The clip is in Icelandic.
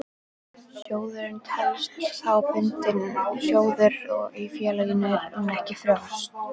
Sjóðurinn telst þá bundinn sjóður í félaginu en ekki frjáls.